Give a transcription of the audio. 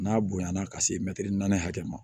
N'a bonyana ka se mɛtiri naani hakɛ ma